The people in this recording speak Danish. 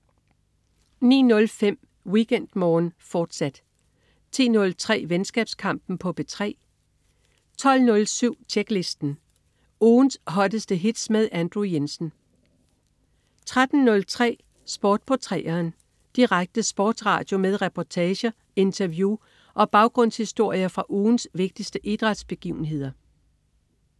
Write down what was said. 09.05 WeekendMorgen, fortsat 10.03 Venskabskampen på P3 12.07 Tjeklisten. Ugens hotteste hits med Andrew Jensen 13.03 Sport på 3'eren. Direkte sportsradio med reportager, interview og baggrundshistorier fra ugens vigtigste idrætsbegivenheder